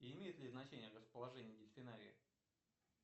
имеет ли значение расположение дельфинария